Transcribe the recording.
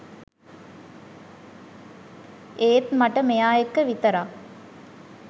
ඒත් මට මෙයා එක්‌ක විතරක්